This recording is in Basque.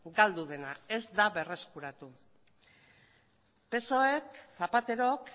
galdu dena ez da berreskuratu psoek zapaterok